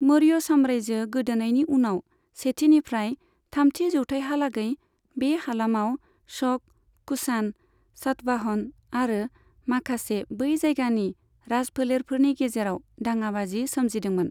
मौर्य साम्रायजो गोदोनायनि उनाव, सेथिनिफ्राय थामथि जौथायहालागै बे हालामाव शक, कुषाण, सातवाहन आरो माखासे बै जायगानि राजफोलेरफोरनि गेजेराव दाङाबाजि सोमजिदोंमोन।